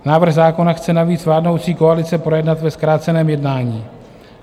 Návrh zákona chce navíc vládnoucí koalice projednat ve zkráceném jednání.